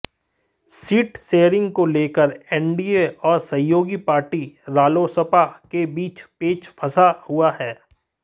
seat sharing को लेकर NDA और सहयोगी पार्टी रालोसपा के बीच पेच फंसा हुआ है